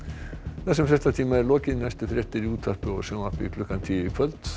þessum fréttatíma er lokið næstu fréttir eru í útvarpi og sjónvarpi klukkan tíu í kvöld